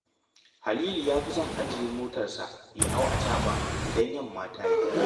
Halilu ya fi son ya ajiye motarsa ya hau acaɓa idan yamma ta yi